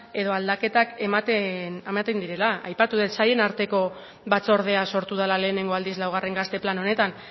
edo aldaketak ematen direla aipatu dut sailen arteko batzordea sortu dela lehenengo aldiz laugarren gazte plan honetan